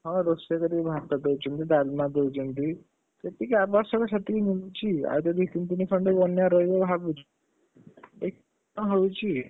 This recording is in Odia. ହଁ ରୋଷେଇ କରିକି ଭାତ ଦଉଛନ୍ତି, ଡାଲମା ଦଉଛନ୍ତି, ଯେତିକି ଆବଶ୍ୟକ ସେତିକି ମିଳୁଛି ଆଉ ଯଦି ତିନିଦିନି ଖଣ୍ଡେ ବନ୍ୟାରେ ରହିବ ଭାବୁଛୁ, ତ ହଉଛି,